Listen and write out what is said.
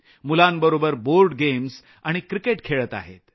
मुलांबरोबर board games आणि cricket खेळत आहेत